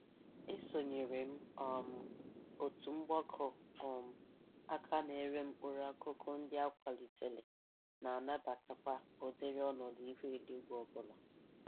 Esonyere m um otu mgbakọ um aka na-ere mkpụrụ akụkụ ndị a kwalitere na-anabatakwa ụdịrị ọnọdụ ihu eluigwe ọbụla.